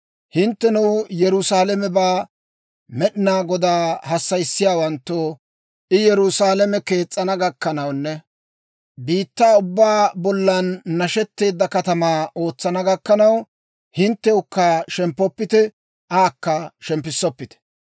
Hinttenoo, Yerusaalamebaa Med'inaa Godaa hassayissiyaawanttoo, I Yerusaalame kees's'ana gakkanawunne biittaa ubbaa bollan nashetteedda katamaa ootsana gakkanaw, hinttewukka shemppoppite; aakka shemppissoppite.